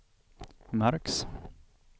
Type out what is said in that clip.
märks